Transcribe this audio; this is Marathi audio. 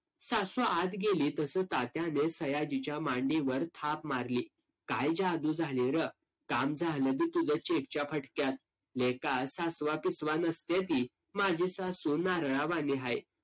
सासू आत गेली तसं तात्याने सयाजीच्या मांडीवर थाप मारली. काय जादू झाली रं? काम झालं बघ तुझं cheque च्या फटक्यात. लेका, सासुआ पिसुआ नसत्या ती. माझी सासू नारळावाणी हाय.